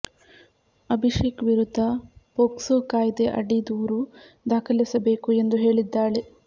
ಅಭಿಷೇಕ್ ವಿರುದ್ಧ ಪೋಕ್ಸೊ ಕಾಯ್ದೆ ಅಡಿ ದೂರು ದಾಖಲಿಸಬೇಕು ಎಂದು ಹೇಳಿದ್ದಾಳೆ